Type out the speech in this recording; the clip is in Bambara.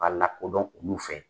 K'a lakodɔn olu fɛ.